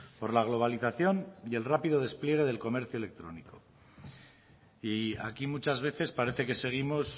por la globalización y el rápido despliegue del comercio electrónico y aquí muchas veces parece que seguimos